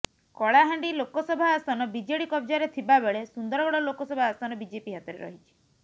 କଳହାଣ୍ଡି ଲୋକସଭା ଆସନ ବିଜେଡି କବ୍ଜାରେ ଥିବା ବେଳେ ସୁନ୍ଦରଗଡ଼ ଲୋକସଭା ଆସନ ବିଜେପି ହାତରେ ରହିଛି